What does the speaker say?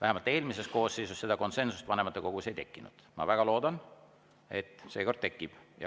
Eelmises koosseisus seda konsensust vanematekogus ei tekkinud, ma väga loodan, et seekord tekib.